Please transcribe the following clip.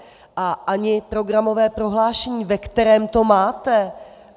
A ani programové prohlášení, ve kterém to máte.